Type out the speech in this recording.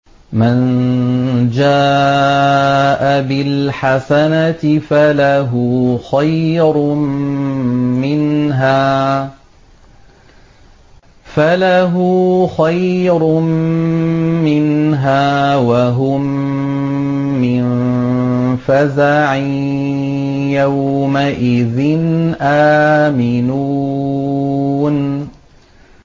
مَن جَاءَ بِالْحَسَنَةِ فَلَهُ خَيْرٌ مِّنْهَا وَهُم مِّن فَزَعٍ يَوْمَئِذٍ آمِنُونَ